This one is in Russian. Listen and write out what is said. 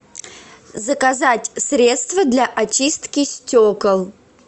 заказать средство для очистки стекол